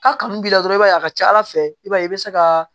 K'a kanu b'i la dɔrɔn i b'a ye a ka ca ala fɛ i b'a ye i bɛ se ka